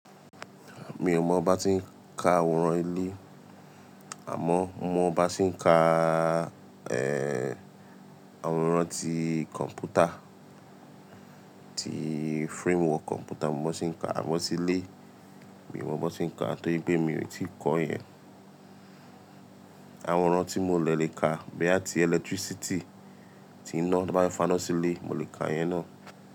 Mi ò mọ bá ti ń ka àwòrán ilé, àmọ́ mo mo bá ń ṣe ǹka, àwòrán ti kọ̀m̀pútà, ti framework kọ̀m̀pútà mo mo ń ṣe ǹka. Amọ́ sí ilé mi ò mọ bi won ṣe ǹka torí pé mi ò tíì kọ̀ yen. Àwòrán tí mo lè lè ka boya ti electricity tí iná bá fáná sí ilé, mo lè ka yẹn ná.